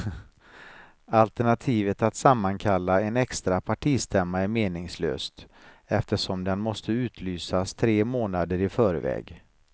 Alternativet att sammankalla en extra partistämma är meningslöst eftersom den måste utlysas tre månader i förväg.